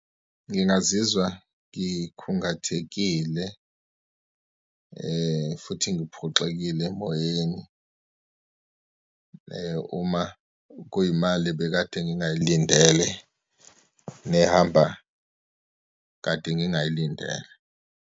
Ngingazizwa ngikhungathekile futhi ngiphoxekile emoyeni, uma kuyimali ebekade ngingayilindele, nehamba kade ngingayilindele.